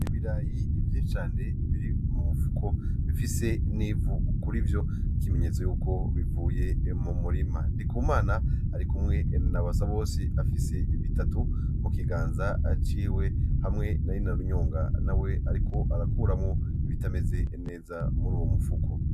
Ibirayi vyinshi cane biri mu mufuko, bifise n'ivu kurivyo, ikimenyetso y'uko bivuye mu murima. Ndikumana ari kumwe na Basabose, afise bitatu mu kiganza ciwe, hamwe na Inarunyonga nawe ariko arakuramwo ibitameze neza muri uwo mufuko.